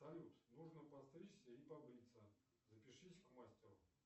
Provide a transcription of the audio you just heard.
салют нужно постричься и побриться запишись к мастеру